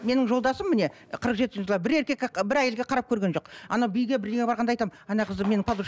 менің жолдасым міне қырық жеті жылда бір еркекке ы бір әйелге қарап көрген жоқ анау биге бірдеңеге барғанда айтамын ана қызды менің